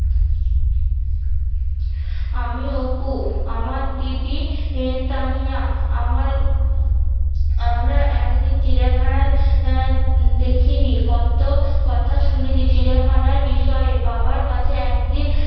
আমি অপু, আমার দিদি তানিয়া, আমার আমরা একদিন চিড়িয়াখানা আহ দেখি নি কত কথা শুনেছি চিড়িয়াখানার বিষয়ে বাবার কাছে একদিন